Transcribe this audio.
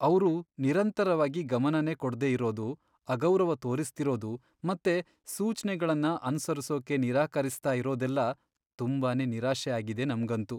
ಅವ್ರು ನಿರಂತರವಾಗಿ ಗಮನನೇ ಕೊಡ್ದೇ ಇರೋದು, ಅಗೌರವ ತೋರಿಸ್ತಿರೋದು ಮತ್ತೆ ಸೂಚ್ನೆಗಳ್ನ ಅನುಸರಿಸೋಕೆ ನಿರಾಕರಿಸ್ತಾ ಇರೋದೆಲ್ಲ ತುಂಬಾನೇ ನಿರಾಶೆ ಆಗಿದೆ ನಮ್ಗಂತೂ.